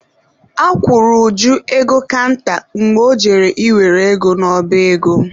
A kwụrụ Uju ego kanta mgbe ọ jere ị were ego n'ọba ego.